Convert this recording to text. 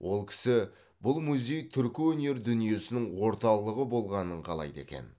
ол кісі бұл музей түркі өнер дүниесінің орталығы болғанын қалайды екен